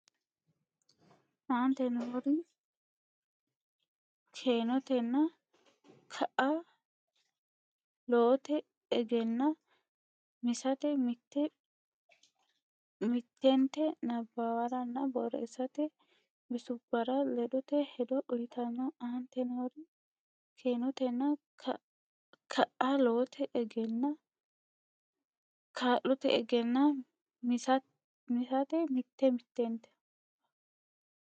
Aante noori keenotenna kaa lote egenaa misate mitte mitente nabbawaranna borreessate bissubbara ledote hedo uytanno Aante noori keenotenna kaa lote egenaa misate mitte mitente.